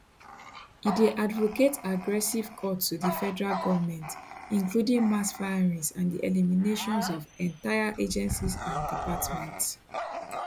e dey advocate aggressive cuts to di federal govment including mass firings and di eliminations of entire agencies and departments